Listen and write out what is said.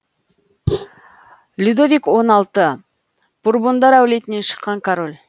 людовик он алты бурбондар әулетінен шыққан король